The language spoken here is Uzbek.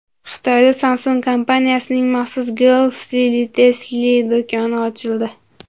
Xitoyda Samsung kompaniyasining maxsus Galaxy Lifestyle do‘koni ochildi.